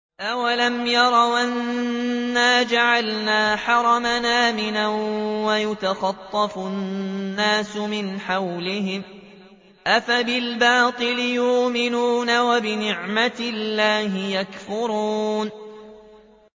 أَوَلَمْ يَرَوْا أَنَّا جَعَلْنَا حَرَمًا آمِنًا وَيُتَخَطَّفُ النَّاسُ مِنْ حَوْلِهِمْ ۚ أَفَبِالْبَاطِلِ يُؤْمِنُونَ وَبِنِعْمَةِ اللَّهِ يَكْفُرُونَ